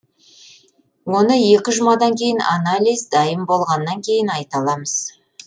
оны екі жұмадан кейін анализ дайын болғаннан кейін айта аламыз